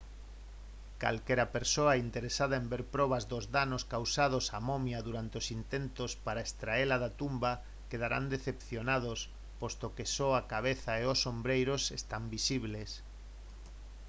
calquera persoa interesada en ver probas dos danos causados á momia durante os intentos para extraela da tumba quedarán decepcionados posto que só a cabeza e os ombreiros están visibles